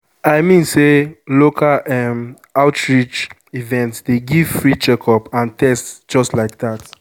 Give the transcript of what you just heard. i mean say local um outreach events dey give free checkup and test just like that.